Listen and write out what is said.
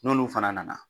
N'olu fana nana